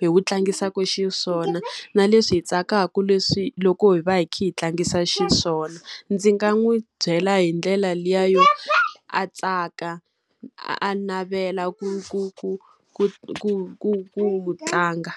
hi wu tlangisaka xiswona, na leswi hi tsakaka leswi loko hi va hi kha hi tlangisa xiswona. Ndzi nga n'wi byela hi ndlela liya yo, a tsaka a navela ku ku ku ku ku ku ku tlanga.